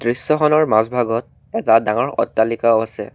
দৃশ্যখনৰ মাজভাগত এটা ডাঙৰ অট্টালিকাও আছে।